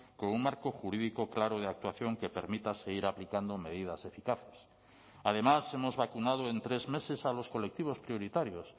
con un marco jurídico claro de actuación que permita seguir aplicando medidas eficaces además hemos vacunado en tres meses a los colectivos prioritarios